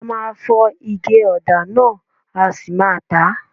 A máa fọ ige ọ̀dà náà a sì máa tà á.